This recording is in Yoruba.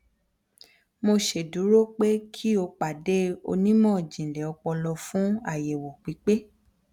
mo ṣeduro pe ki o pade onimọjinlẹ opolo fun ayewo pipe